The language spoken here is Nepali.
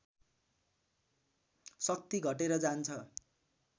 शक्ति घटेर जान्छ